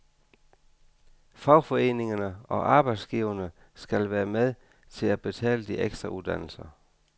Fagforeningerne og arbejdsgiverne skal være med til at betale de ekstra uddannelser.